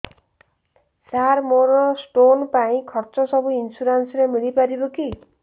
ସାର ମୋର ସ୍ଟୋନ ପାଇଁ ଖର୍ଚ୍ଚ ସବୁ ଇନ୍ସୁରେନ୍ସ ରେ ମିଳି ପାରିବ କି